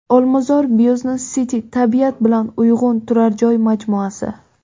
Olmazor Business City: tabiat bilan uyg‘un turar joy majmuasi.